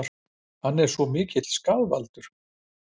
Er hann svona mikill skaðvaldur?